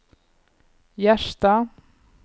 Gjerstad